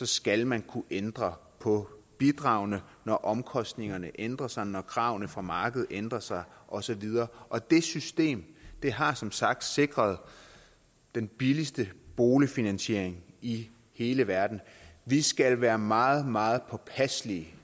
skal man kunne ændre på bidragene når omkostningerne ændrer sig når kravene fra markedet ændrer sig og så videre og det system har som sagt sikret den billigste boligfinansiering i hele verden vi skal være meget meget påpasselige